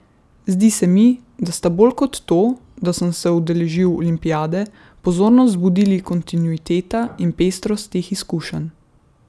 Zdi se mi, da sta bolj kot to, da sem se udeležil olimpijade, pozornost zbudili kontinuiteta in pestrost teh izkušenj.